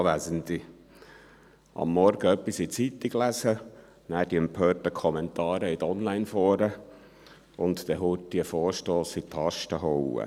Am Morgen etwas in der Zeitung lesen, danach die empörten Kommentare in den Online-Foren, und dann schnell einen Vorstoss in die Tasten hauen: